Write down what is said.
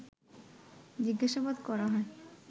জিজ্ঞাসাবাদ করা হয়